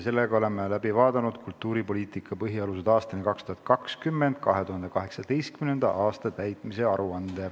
Oleme ära kuulanud "Kultuuripoliitika põhialused aastani 2020" aasta 2018 täitmise aruande.